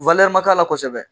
ma k'a la kosɛbɛ